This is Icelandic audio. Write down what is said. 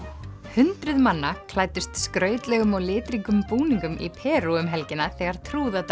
hundruð manna klæddust skrautlegum og litríkum búninga í Perú um helgina þegar